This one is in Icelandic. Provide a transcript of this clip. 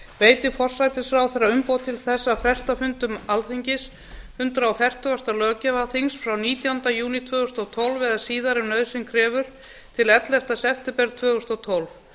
veiti forsætisráðherra umboð til að fresta fundum alþingis hundrað fertugasta löggjafarþings frá nítjánda júní tvö þúsund og tólf eða síðar ef nauðsyn krefur til ellefta september tvö þúsund og tólf